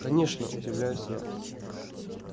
конечно удивляюсь я